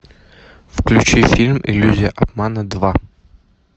включи фильм иллюзия обмана два